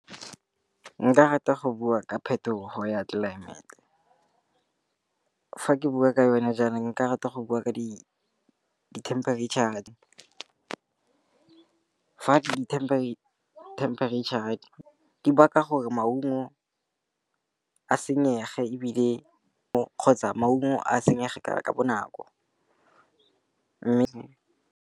Nka rata go bua ka phetogo ya tlelaemete. Fa ke bua ka yone jaanong nka rata go bua ka dithemperetšhara, fa dithemperetšha di ba ka gore maungo a senyege kgotsa maungo a senyege ka bonako, mme.